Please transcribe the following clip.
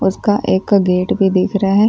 उसका एक गेट भी दिख रहा है।